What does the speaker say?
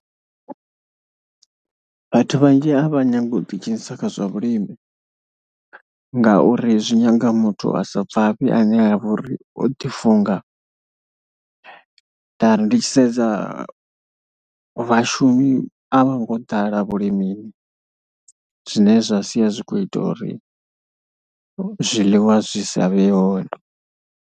Vhathu vhanzhi a vha nyagi u ḓidzhenisa kha zwa vhulimi ngauri zwi nyanga muthu a sa bvafhi ane a vha uri o ḓifunga ngauri ndi tshi sedza vhashumi a vha ngo ḓala vhulimini zwine zwa sia zwi khou ita uri zwiḽiwa zwi sa vhe hone.